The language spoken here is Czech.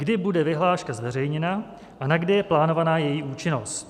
Kdy bude vyhláška zveřejněna a na kdy je plánována její účinnost?